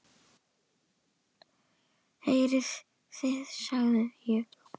Heyrið þið, sagði ég.